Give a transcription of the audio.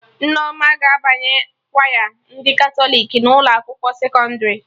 Nneoma ga-abanye kwaya ndị Katọlik na ụlọ akwụkwọ sekọndrị